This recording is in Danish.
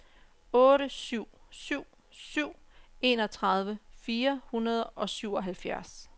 otte syv syv syv enogtredive fire hundrede og syvoghalvfjerds